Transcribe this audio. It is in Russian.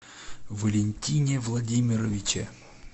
валентине владимировиче